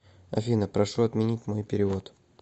афина прошу отменить мой перевод